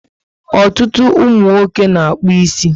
Ọtụtụ umunwoke na-akpu ísì